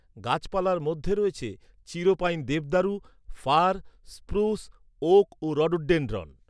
গাছপালার মধ্যে রয়েছে, চির পাইন দেবদারু, ফার, স্প্রুস , ওক ও রডোডেনড্রন।